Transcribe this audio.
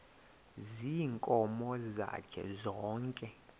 ziinkomo zakhe zonke